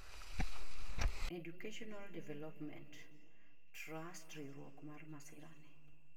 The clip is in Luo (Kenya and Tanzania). Educationai Development Tust riwruok mar masira ni